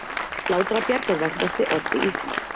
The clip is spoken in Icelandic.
Látrabjarg er vestasti oddi Íslands.